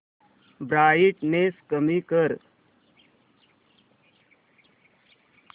brightness कमी कर